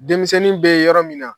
Denmisɛnnin bɛ yɔrɔ min na